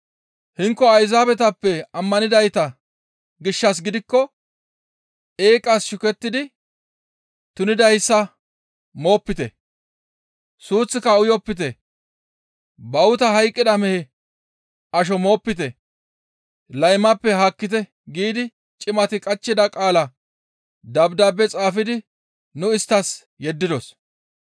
Hinko Ayzaabetappe ammanidayta gishshas gidikko, ‹Eeqas shukettidi tunidayssa moopite; suuththika uyopite; bawuta hayqqida mehe asho moopite; laymappe haakkite› giidi cimati qachchida qaalaa dabdaabe xaafidi nu isttas yeddidos.»